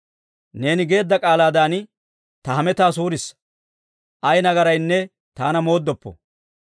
Neeni geedda k'aalaadan ta hemetaa suurissa; ay nagaraynne taana mooddoppo.